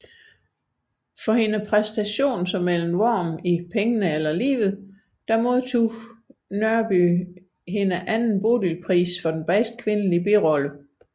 For sin præstation som Ellen Worm i Pengene eller livet modtog Nørby sin sin anden Bodilpris for bedste kvindelige birolle